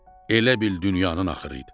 Elə bil dünyanın axırı idi.